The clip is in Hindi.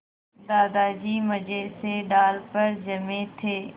दादाजी मज़े से डाल पर जमे थे